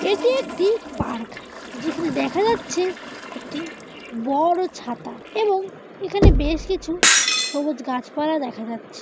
এটি একটি পার্ক । যেখানে দেখা যাচ্ছে একটি বড়ো ছাতা এবং এখানে বেশ কিছু সবুজ গাছপালা দেখা যাচ্ছে।